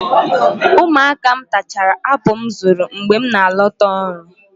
Ụmụaka m tachara apụl m zụrụ mgbe m na-alọta ọrụ.